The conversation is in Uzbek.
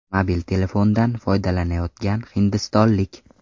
Mobil telefondan foydalanyotgan hindistonlik.